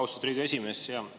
Austatud Riigikogu esimees!